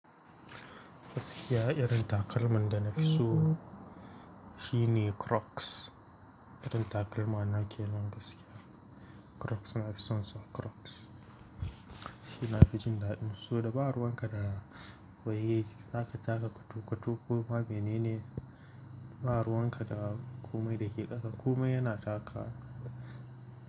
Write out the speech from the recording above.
Gaskiya irin takalmin da na fi so shine Crocs. Irin takalmana kenan gaskiya. Crocs na fi son sa Crocs. Shi na fi jin daɗin. Saboda ba ruwan ka da waye za ka taka koto-koto ko ma menene. Ba ruwan ka da kumai da ke ƙasa. Kumai yana taka.